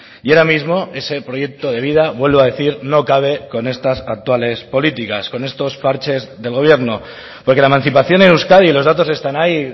y ahora mismo ese proyecto de vida vuelvo a decir no cabe con estas actuales políticas con estos parches del gobierno porque la emancipación en euskadi los datos están ahí